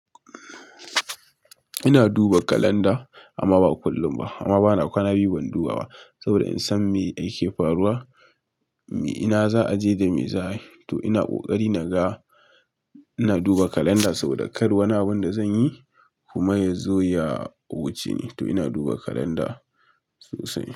Ina duba kalanda amma ba kullum ba, amma bana kwana biyu ban duba ba, saboda in san me yake faruwa, ina za aje da me za ayi to ina kokari naga, ina duba kalanda saboda kar wani abun da zanyi kuma ya zo ya wuce ni. To ina duba kalanda sosai.